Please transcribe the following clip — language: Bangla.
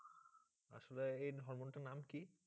আসলে এই হরমোন টার নাম কী?